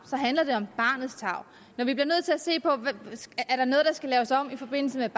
når vi bliver nødt til at se på om der er noget der skal laves om i forbindelse